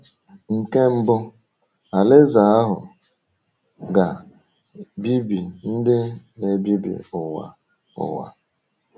Nke mbụ, Alaeze ahụ ga “bibi ndị na-ebibi ụwa.” ụwa.”